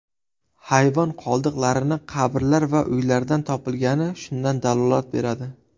Hayvon qoldiqlarini qabrlar va uylardan topilgani shundan dalolat beradi.